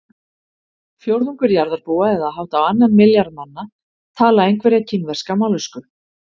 Fjórðungur jarðarbúa eða hátt á annan milljarð manna tala einhverja kínverska mállýsku.